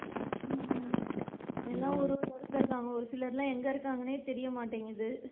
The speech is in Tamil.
ஹம் எல்லாம் ஒரு ஒரு இடத்துல இருக்காங்க ஒரு சிலர்லா எங்க இருக்காங்கன்னே தெரிய மாட்டேன்குது,